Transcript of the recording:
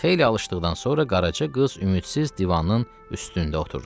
Xeyli alışdıqdan sonra Qaraca qız ümidsiz divanın üstündə oturdu.